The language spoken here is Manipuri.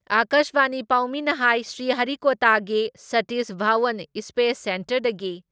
ꯑꯀꯥꯁꯕꯥꯅꯤ ꯄꯥꯎꯃꯤꯅ ꯍꯥꯏ ꯁ꯭ꯔꯤꯍꯔꯤꯀꯣꯇꯥꯒꯤ ꯁꯥꯇꯤꯁ ꯙꯋꯟ ꯏꯁꯄꯦꯁ ꯁꯦꯟꯇꯔꯗꯒꯤ